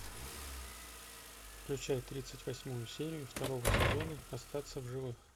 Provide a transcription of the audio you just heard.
включай тридцать восьмую серию второго сезона остаться в живых